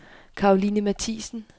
Karoline Mathiesen